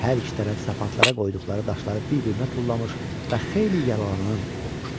Hər iki tərəf sapantlara qoyduqları daşları bir-birinə tullamış və xeyli yaralanan olmuşdu.